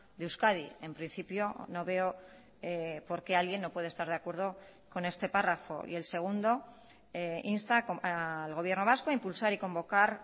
de euskadi en principio no veo por qué alguien no puede estar de acuerdo con este párrafo y el segundo insta al gobierno vasco a impulsar y convocar